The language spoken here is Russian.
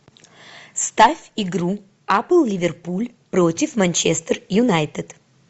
ставь игру апл ливерпуль против манчестер юнайтед